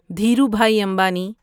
Dhirubhai Ambani